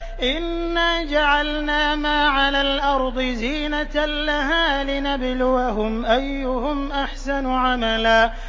إِنَّا جَعَلْنَا مَا عَلَى الْأَرْضِ زِينَةً لَّهَا لِنَبْلُوَهُمْ أَيُّهُمْ أَحْسَنُ عَمَلًا